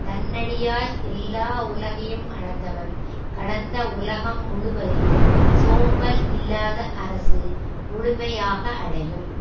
தன் அடியால் எல்லா உலகையும் அளந்தவன் கடந்த உலகம் முழுவதையும் சோம்பல் இல்லாத அரசு முழுமையாக அடையும்